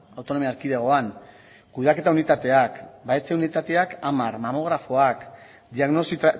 autonomia erkidegoan kudeaketa unitateak unitateak hamar mamografoak diagnosi